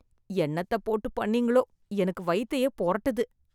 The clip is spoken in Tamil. என்னத்தப் போட்டு பண்ணீங்களோ. எனக்கு வயித்தையே பொரட்டுது.